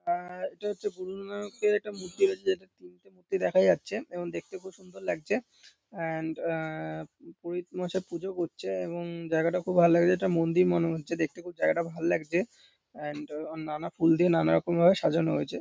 আর এটা হচ্ছে গুরুনানকের একটা মূর্তি রয়েছে যেটা তিনটে মূর্তি দেখা যাচ্ছে এবং দেখতে খুব সুন্দর লাগছে অ্যান্ড আ পুরহিত মশাই পুজো করছে এবং জায়গাটা খুব ভালো লাগছে এটা মন্দির মনে হচ্ছে দেখতে খুব জায়গাটা ভাল লাগছে অ্যান্ড নানা ফুলদিয়ে নানা রকম ভাবে সাজানো হয়েছে।